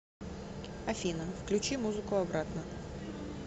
афина включи музыку обратно